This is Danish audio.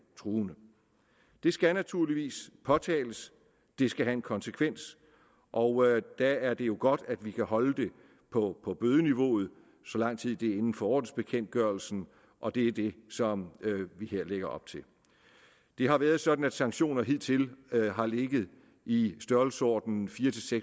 truende det skal naturligvis påtales det skal have en konsekvens og der er det jo godt at vi kan holde det på bødeniveauet så lang tid det er inden for ordensbekendtgørelsen og det er det som vi her lægger op til det har været sådan at sanktioner hidtil har ligget i størrelsesordenen fire